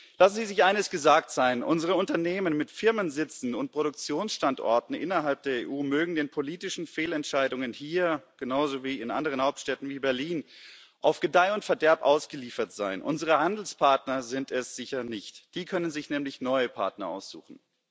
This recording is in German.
Lassen Sie sich eines gesagt sein Unsere Unternehmen, mit Firmensitzen und Produktionsstandorten innerhalb der EU, mögen den politischen Fehlentscheidungen hier genauso wie in anderen Hauptstädten wie Berlin auf Gedeih und Verderb ausgeliefert sein, unsere Handelspartner sind es sicher nicht, die können sich nämlich neue Partner aussuchen.